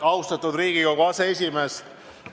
Austatud Riigikogu aseesimees!